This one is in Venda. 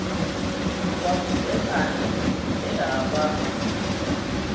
lwa vhudzekani he ha vha